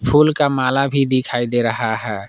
फूल का माल भी दिखाई दे रहा है।